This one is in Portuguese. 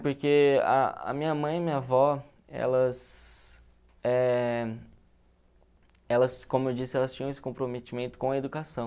Porque a a minha mãe e minha avó, elas eh elas, como eu disse, elas tinham esse comprometimento com a educação.